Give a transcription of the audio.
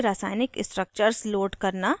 * pubchem database से रासायनिक structures load करना